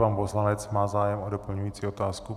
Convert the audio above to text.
Pan poslanec má zájem o doplňující otázku.